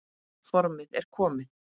Formið er komið!